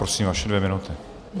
Prosím, vaše dvě minuty.